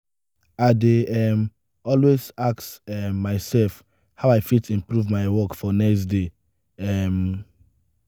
i dey um always ask um myself how i fit improve my work for next day. um